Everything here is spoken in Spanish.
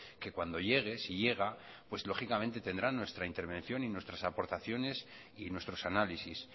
que cuando llegue si llega pues lógicamente tendrá nuestra intervención y nuestras aportaciones y nuestros análisis